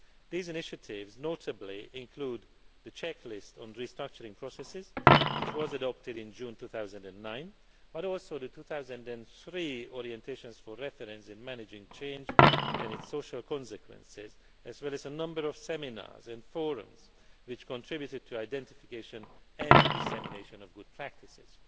These initiatives notably include the Checklist on Restructuring Processes, which was adopted in June 2009, but also the 2003 Orientations for reference in managing change and its social consequences, as well as a number of seminars and forums which contributed to identification and dissemination of good practices.